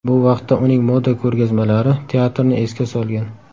Bu vaqtda uning moda ko‘rgazmalari teatrni esga solgan.